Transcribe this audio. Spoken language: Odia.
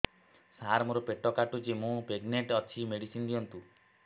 ସାର ମୋର ପେଟ କାଟୁଚି ମୁ ପ୍ରେଗନାଂଟ ଅଛି ମେଡିସିନ ଦିଅନ୍ତୁ